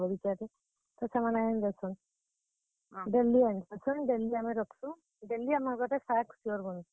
daily ଆନ୍ ସନ୍, daily ଆମେ ରଖସୁଁ, daily ଆମର୍ ଘରେ ଶାଗ୍ sure ବନ୍ ସି।